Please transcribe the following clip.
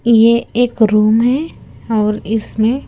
ये एक रूम है और इसमें--